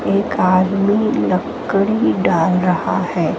एक आदमी लकड़ी डाल रहा है।